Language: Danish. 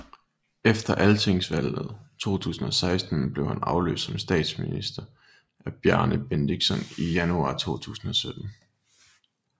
Efter Altingsvalget 2016 blev han afløst som statsminister af Bjarni Benediktsson i januar 2017